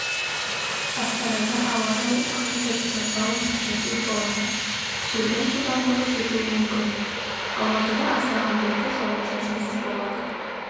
астанада ауа райы күн бұлтты жауын-шашынсыз болады желдің жылдамдығы жетуі мүмкін алматыда аздаған бұлтты жауын-шашынсыз болады